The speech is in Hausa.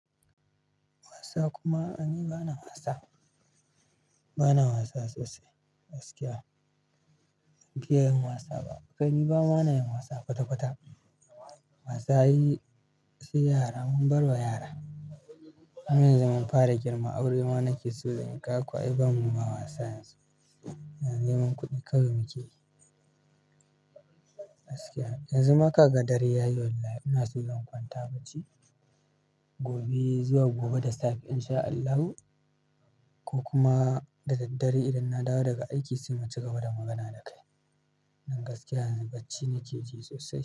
Wasa kuma ai ni bana wasa, bana wasa sosai gaskiya. Ban fiya yin wasa ba, ƙai ba ma nayin wasa kwata-kwata. Wasa ai sai yara mun barwa yara. Mu yanzu mun fara girma aure ma nake so zanyi, kaga kwa ai bamu ba wasa yanzu. Na neman kuɗi kawai muke gaskiya. Yanzu ma kaga dare ya yi wallahi ina so zan kwanta bacci. Gobe zuwa gobe da safe in sha Allahu ko kuma da daddare idan na dawo daga aiki sai mu cigaba da magana da kai. Dan gaskiya yanzu bacci nake ji sosai.